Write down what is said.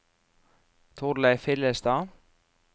Torleif Hillestad